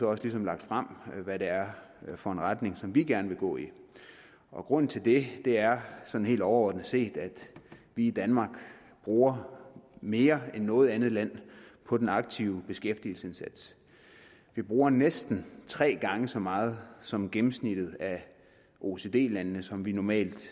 også ligesom lagt frem hvad det er for en retning vi gerne vil gå i og grunden til det er sådan helt overordnet set at vi i danmark bruger mere end noget andet land på den aktive beskæftigelsesindsats vi bruger næsten tre gange så meget som gennemsnittet af oecd landene som vi normalt